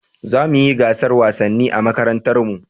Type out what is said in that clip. Za mu yi gasar wasanni a makarantar mu